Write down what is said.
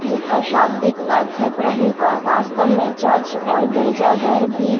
जिसका शाब्दिक अर्थ है प्रभु का वास्तव में चर्च और गिरजाघर भी--